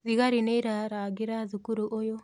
Thigari nĩirarangĩra thukuru ũyũ.